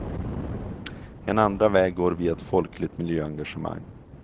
En andra väg går via ett folkligt miljöengagemang.